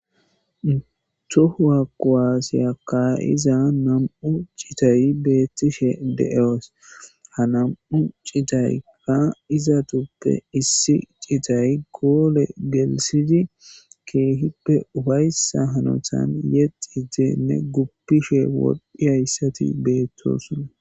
Tohuwa kuwasiya ka'za2 citay betishe de'es ha 2 citayka izatape issi citay gole gelthid keehipe ufaysa hanotan yexidene gupishe woxiyaget betosona